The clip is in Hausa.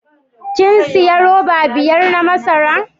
Kin sayi roba biyar na masara?